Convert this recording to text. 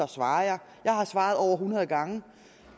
svarer jeg jeg har svaret over hundrede gange